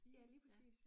Ja, lige præcis